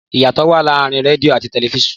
Ìyàtọ̀ wa láàrin rẹdìo àti tẹlifiṣionu.